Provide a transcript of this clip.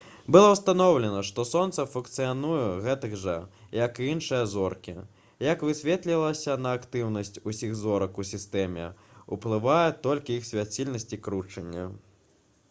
было ўстаноўлена што сонца функцыянуе гэтак жа як і іншыя зоркі як высветлілася на актыўнасць усіх зорак у сістэме ўплывае толькі іх свяцільнасць і кручэнне